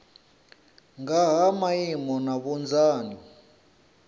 nga ha maimo na vhunzani